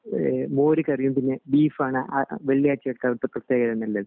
ഇഹ് മോര് കറിയും പിന്നെ ബീഫാണ് വെള്ളിയാഴ്ച ഒക്കെ അവിടത്തെ പ്രത്യേകത എന്നുള്ളത്